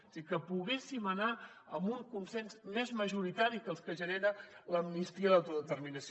és a dir que poguéssim anar amb un consens més majoritari que els que genera l’amnistia i l’autodeterminació